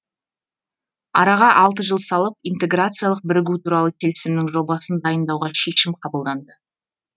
араға алты жыл салып интеграциялық бірігу туралы келісімнің жобасын дайындауға шешім қабылданды